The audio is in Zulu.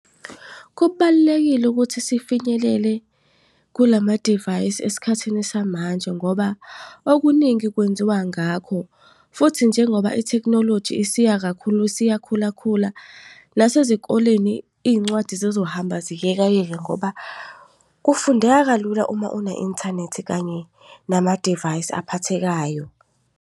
Kubalulekile ukuthi sifinyelele kulamadivayisi esikhathini samanje, ngoba okuningi kwenziwa ngakho. Futhi njengoba i-technology isiya kakhulu isiyakhula khula, nasezikoleni iy'ncwadi zizohamba ziyekayeke ngoba kufundeka kalula uma une-inthanethi kanye nama-divayisi aphathekayo.